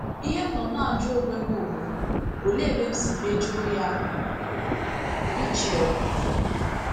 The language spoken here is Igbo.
Ihe m nọ na - ajụ onwe m bụ, ‘ Olee ebe m si mejọọ ya? ’— Rachel.